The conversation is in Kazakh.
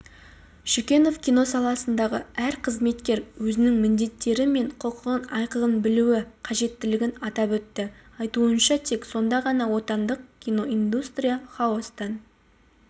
шүкенов кино саласындағы әр қызметкер өзінің міндеттері мен құқығын айқын білуі қажеттігін атап өтті айтуынша тек сонда ғана отандық киноиндустрия хаостан